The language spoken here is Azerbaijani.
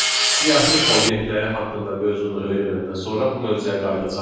Biz siyahı obyektləri haqqında mövzunu öyrənəndən sonra bu mövzuya qayıdacağıq